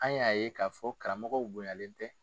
An y'a ye k'a fɔ karamɔgɔw bonyalen tɛ.